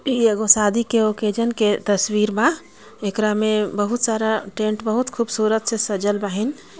इ एगो शादी के ओकेजन के तस्वीर बा एकरा में बहुत सारा टेंट बहुत खूबसूरत से सजल रहीन।